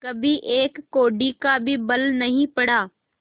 कभी एक कौड़ी का भी बल नहीं पड़ा